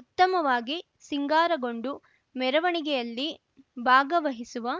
ಉತ್ತಮವಾಗಿ ಸಿಂಗಾರಗೊಂಡು ಮೆರವಣಿಗೆಯಲ್ಲಿ ಭಾಗವಹಿಸುವ